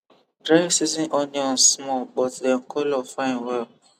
dry season onions small but dem colour fine well